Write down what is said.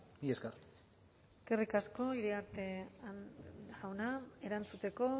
mila esker eskerrik asko iriarte jauna erantzuteko